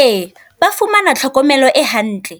Ee ba fumana tlhokomelo e hantle,